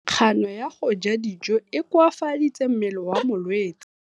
Kganô ya go ja dijo e koafaditse mmele wa molwetse.